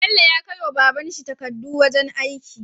Bello ya kai wa babanshi takkadu wajan aiki